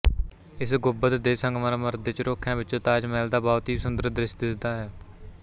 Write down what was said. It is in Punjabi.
ਇਸ ਗੁੰਬਦ ਦੇ ਸੰਗਮਰਮਰ ਦੇ ਝਰੋਖਿਆਂ ਵਿੱਚੋਂ ਤਾਜਮਹਿਲ ਦਾ ਬਹੁਤ ਹੀ ਸੁੰਦਰ ਦ੍ਰਿਸ਼ ਦਿਸਦਾ ਹੈ